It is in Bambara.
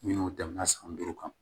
Minnu tɛmɛna san duuru kan